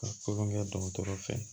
Ka kodɔn dɔgɔtɔrɔ fɛ